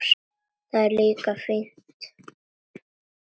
Það er líka fínna þar.